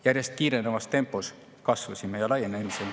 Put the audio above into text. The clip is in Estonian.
Järjest kiirenevas tempos kasvasime ja laienesime.